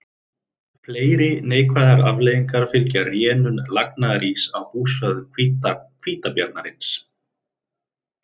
Fleiri neikvæðar afleiðingar fylgja rénun lagnaðaríss á búsvæðum hvítabjarnarins.